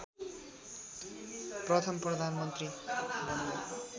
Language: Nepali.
प्रथम प्रधानमन्त्री बनेका